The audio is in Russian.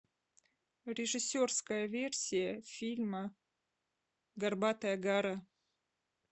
режиссерская версия фильма горбатая гора